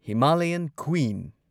Himalayan queen